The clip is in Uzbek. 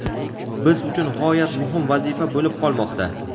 biz uchun g‘oyat muhim vazifa bo‘lib qolmoqda.